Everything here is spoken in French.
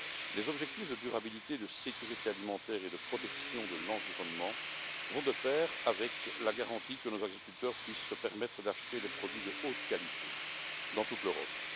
Les objectifs de durabilité, de sécurité alimentaire et de protection de l'environnement vont de pair avec la garantie que nos agriculteurs puissent se permettre d'acheter des produits de haute qualité dans toute l'Europe.